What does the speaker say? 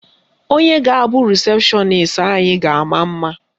Onye ga-abụ rịsepshọnis anyị ga-ama mma.